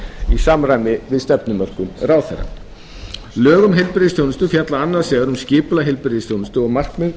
í samræmi við stefnumörkun ráðherra lög um heilbrigðisþjónustu fjalla annars vegar um skipulag heilbrigðisþjónustu og markmið